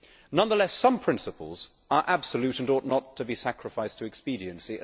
Nonetheless, some principles are absolute and ought not to be sacrificed to expediency.